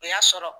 O y'a sɔrɔ